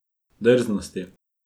Drznosti.